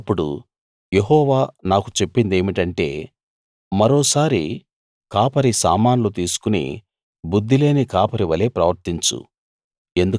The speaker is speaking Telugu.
అప్పుడు యెహోవా నాకు చెప్పినదేమిటంటే మరోసారి కాపరి సామాన్లు తీసుకుని బుద్ధిలేని కాపరి వలే ప్రవర్తించు